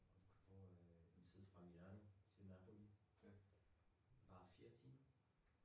Hvor øh en tid fra Milan til Napoli varer 4 timer